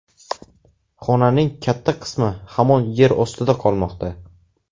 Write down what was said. Xonaning katta qismi hamon yer ostida qolmoqda.